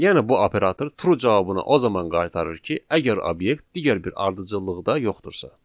Yəni bu operator true cavabını o zaman qaytarır ki, əgər obyekt digər bir ardıcıllıqda yoxdursa.